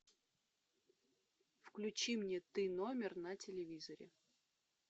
включи мне ты номер на телевизоре